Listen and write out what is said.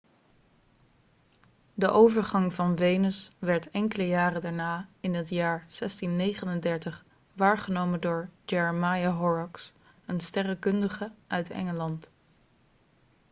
de overgang van venus werd enkele jaren daarna in het jaar 1639 waargenomen door jeremiah horrocks een sterrenkundige uit engeland